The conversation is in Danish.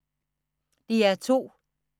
DR2